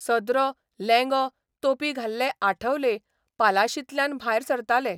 सदरो, लेंगो, तोपी घाल्ले आठवले पालाशींतल्यान भायर सरताले.